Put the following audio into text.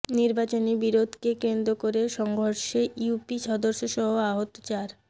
নির্বাচনী বিরোধকে কেন্দ্র করে সংঘর্ষে ইউপি সদস্যসহ আহত চার